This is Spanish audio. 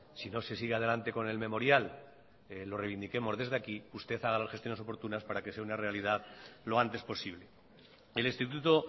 si no se sigue adelante con el memorial lo reivindiquemos desde aquí usted haga las gestiones oportunas para que sea una realidad lo antes posible el instituto